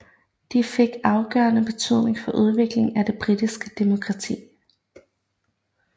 De fik afgørende betydning for udviklingen af det britiske demokrati